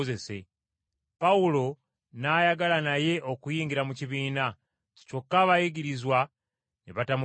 Pawulo n’ayagala naye okuyingira mu kibiina, kyokka abayigirizwa ne batamukkiriza.